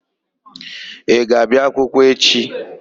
Ị ga-abịa akwụkwọ echi?